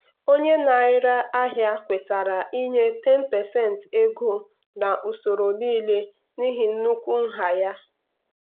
ọtụtụ ezinụlọ na-ebute ụzọ ichekwa ego maka mmefu ikpeazụ dịka olili ozu na ebe ebe obibi.